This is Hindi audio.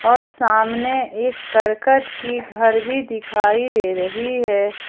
और सामने एक करकट की घर भी दिखाई दे रही है।